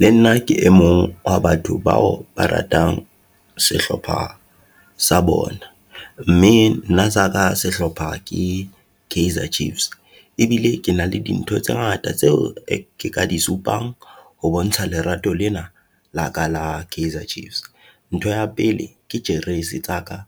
Le nna ke e mong wa batho bao ba ratang sehlopha sa bona, mme nna saka sehlopha ke Kaizer Chiefs, ebile ke na le dintho tse ngata tseo ke ka di supang ho bontsha lerato lena la ka la Kaizer Chiefs. Ntho ya pele ke jeresi tsa ka